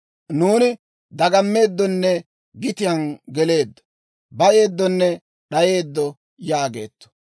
Nuuni dagammeeddonne gitiyaan geleeddo; bayeeddonne d'ayeeddo» yaageetto.